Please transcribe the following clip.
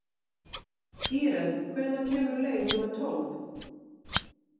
Íren, hvenær kemur leið númer tólf?